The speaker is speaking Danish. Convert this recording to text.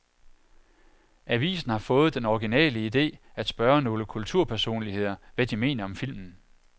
Avisen har fået den originale ide at spørge nogle kulturpersonligheder, hvad de mener om filmen.